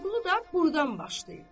Vəliqulu da burdan başlayıb.